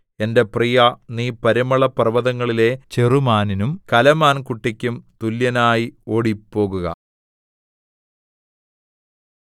എന്റെ പ്രിയാ നീ പരിമളപർവ്വതങ്ങളിലെ ചെറുമാനിനും കലമാൻകുട്ടിക്കും തുല്യനായി ഓടിപ്പോകുക